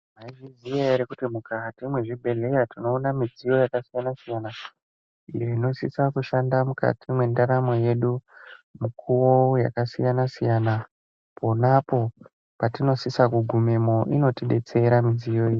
Mwaizviziya ere kuti mukati mwezvibhehlera tinoona midziyo yakasiyanasiyana iyo inosisa kushanda mukati mwendaramo yedu mikuwo yakasiyanasiyana ponapo patinosise kugumemwo inotidetsera midziyo iyi.